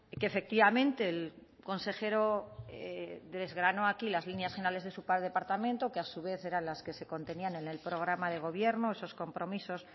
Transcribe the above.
que efectivamente el consejero desgranó aquí las líneas generales de su departamento que a su vez eran las que se contenían en el programa de gobierno esos compromisos